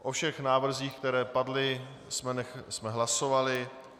O všech návrzích, které padly, jsme hlasovali.